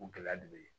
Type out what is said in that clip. O gɛlɛya de bɛ yen